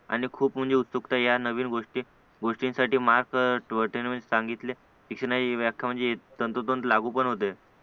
आणि खूप म्हणजे उत्सुकता या नवीन गोष्टी गोष्टींसाठी मार्क सांगितले तशी ना ही व्याख्या तंतोतंत लागू पण होते